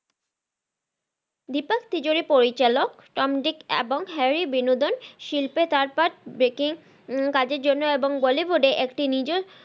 দিপাক তিজরি পরিচালক Tom Dick এবং Harry বিনোদন শিল্পে কাজের জন্য এবং bollywood এ একটি নিজ